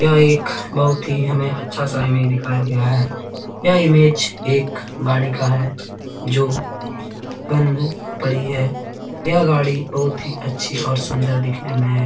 यह एक बहुत ही हमें अच्छा सा इमे दिखाया गया है यह इमेज एक गाड़ी का है जो बंद पड़ी है यह गाड़ी बहुत ही अच्छी और सुन्दर दिखने में है।